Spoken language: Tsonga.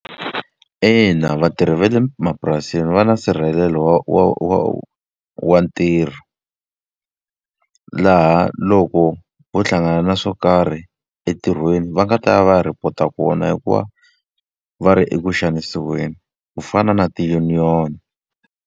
Ina vatirhi va le mapurasini va na nsirhelelo wa wa wa ntirho. Laha loko vo hlangana na swo karhi entirhweni, va nga ta ya va ya report-a kona hikuva va ri eku xanisiweni. Ku fana na ti-union.